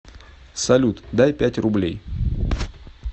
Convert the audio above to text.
салют дай пять рублей